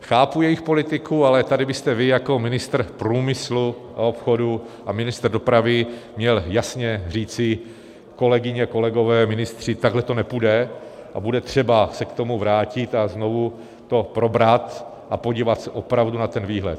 Chápu jejich politiku, ale tady byste vy jako ministr průmyslu a obchodu a ministr dopravy měl jasně říci: kolegyně, kolegové, ministři, takhle to nepůjde a bude třeba se k tomu vrátit a znovu to probrat a podívat se opravdu na ten výhled.